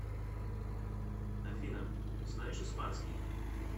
афина знаешь испанский